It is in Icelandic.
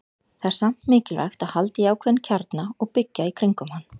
Það er samt mikilvægt að halda í ákveðinn kjarna og byggja í kringum hann.